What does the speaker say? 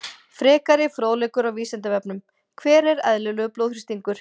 Frekari fróðleikur á Vísindavefnum: Hver er eðlilegur blóðþrýstingur?